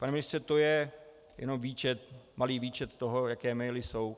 Pane ministře, to je jenom výčet, malý výčet toho, jaké maily jsou.